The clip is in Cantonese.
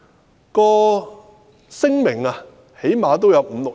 相關的聲明最少都有五六頁。